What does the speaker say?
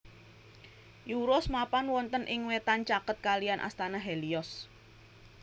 Euros mapan wonten ing wetan caket kalihan astana Helios